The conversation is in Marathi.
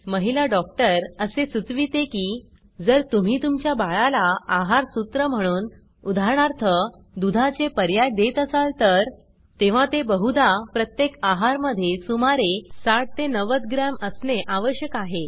महिला डॉक्टर असे सूचविते की जर तुम्ही तुमच्या बाळाला आहार सूत्र म्हणून उदाहरणार्थ दुधा चे पर्याय देत आसाल तर तेव्हा ते बहुधा प्रत्येक आहार मध्ये सुमारे 60 90 ग्रॅम असणे आवश्यक आहे